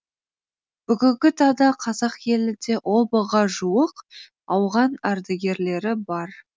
бүгінгі таңда қазақ елінде он мыңға жуық ауған ардагерлері бар